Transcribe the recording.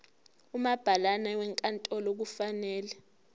umabhalane wenkantolo kufanele